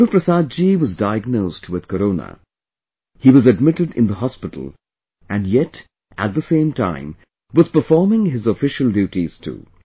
Guruprasad ji was diagnosed with Corona, he was admitted in the hospital and yet at the same time was performing his official duties too